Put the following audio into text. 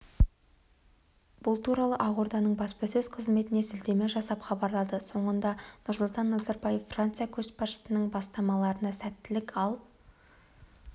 бұл туралы ақорданың баспасөз қызметіне сілтеме жасап хабарлады соңында нұрсұлтан назарбаев франция көшбасшысының бастамаларына сәттілік ал